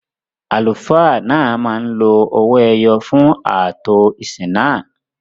Àlùfáà náà máa ń lo ọwọ-ẹyọ̀ náà fún ààtò ìsìn náà